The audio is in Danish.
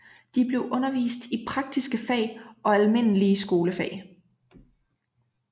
De blev undervist i praktiske fag og almindelige skolefag